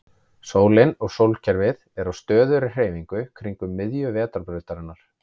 Sólin og sólkerfið er á stöðugri hreyfingu kringum miðju Vetrarbrautarinnar.